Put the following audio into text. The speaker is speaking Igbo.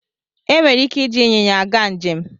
E nwere ike iji ịnyịnya aga njem.